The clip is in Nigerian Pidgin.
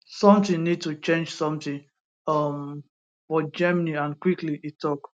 something need to change something um for germany and quickly e tok